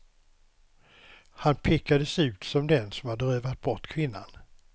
Han pekades ut som den som hade rövat bort kvinnan.